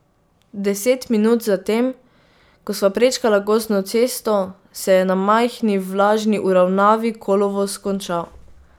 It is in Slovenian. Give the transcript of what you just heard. Deset minut za tem, ko sva prečkala gozdno cesto, se je na majhni, vlažni uravnavi kolovoz končal.